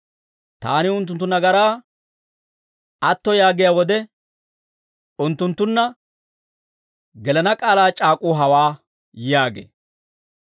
Taani unttunttu nagaraa atto yaagiyaa wode, unttunttunna gelana k'aalaa c'aak'uu hawaa» yaagee.